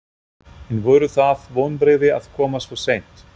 En voru það vonbrigði að koma svo seint?